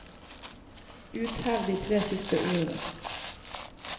Uthev de tre siste ordene